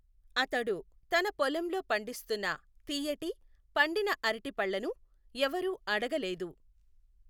అతడు తన పొలంలో పండిస్తున్న తియ్యటి, పండిన అరటిపళ్ళను ఎవరూ అడగలేదు.